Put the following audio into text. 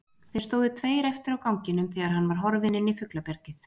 Þeir stóðu tveir eftir á ganginum þegar hann var horfinn inn í fuglabjargið.